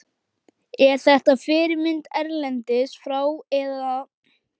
Er þetta fyrirmynd erlendis frá eða?